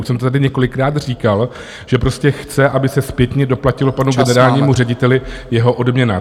Už jsem to tady několikrát říkal, že prostě chce, aby se zpětně doplatila panu generálnímu řediteli jeho odměna.